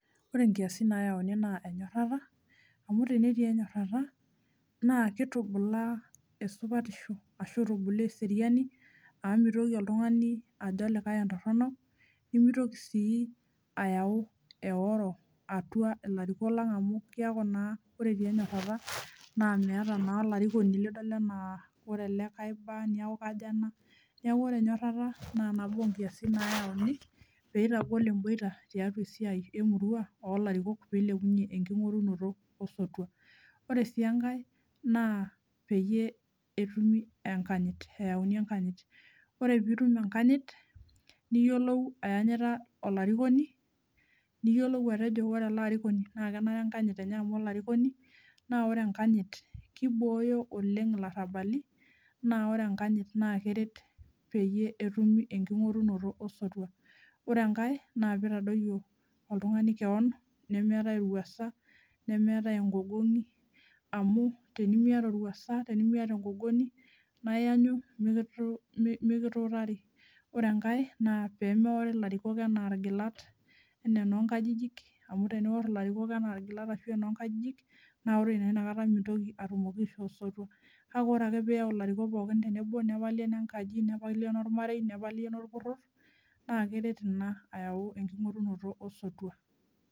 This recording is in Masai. Ore nkiasin nayauni naa enyorata amu tenetii enyorata naa kitubulaa esupatisho ashu itubulaa eseriani amu mitoki oltungani ajo olikae entorono nimitoki sii ayau eworo atua ilariko lang amu kiaku ore naa metii enyorata naa meeta naa olarikoni lidol enaa ore ele naa kaiba ashu kiko ena, niaku ore enyorata naa nabo onkiasin nayieuni pitagol emboita tiatua esiai emurua olarikok pilepunyie enkingorunoto osotua . Ore si enkae naa peyie etumi enkanyit , eyauni enkanyit . Ore pitum enakanyit niyiolou ayanyita olarikoni , niyiolou atejo ore ele arikoni naa kenare enkanyit enye amu olarikoni . Naa ore enkanyit kibooyo oleng ilarabali naa ore enkanyit naa keret peyie etumi enkingorunoto osotua . Ore enkae naa pitadoyio oltungani kewon nemeetae orwuasa, nemeetae enkogogongi, amu teniamiata orwuasa naa tenimiata engogongi naa iyanyu miki , mikituutari , ore enkae naa pemeori ilariko anaa irgilat enee enoonkajijik , amu tenior ilarikok anaa irgilat amu enaa enoo nkajijik naa ore naa inakata mitoki atumoki aishoo osotua , kake ore ake piyau ilarikok pokin tenebo , nepali enenkaji , nepali enormarei , nepali enorporor naa keret ina ayau enkingorunoto osotua.